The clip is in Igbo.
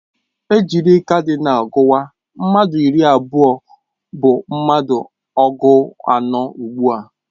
Ejiri kadinal guwa, mmadụ iri abụọ bụ mmadụ ọgụ anọ ugbua